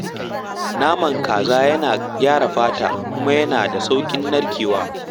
Naman kaza yana gyara fata, kuma yana da saurin narkewa.